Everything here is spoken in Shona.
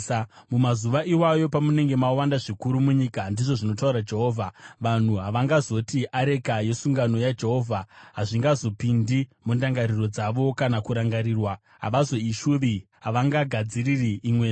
Mumazuva iwayo, pamunenge mawanda zvikuru munyika,” ndizvo zvinotaura Jehovha, “vanhu havangazoti, ‘Areka yesungano yaJehovha.’ Hazvingazopindi mundangariro dzavo kana kurangarirwa; havazoishuvi, havangagadziri imwezve.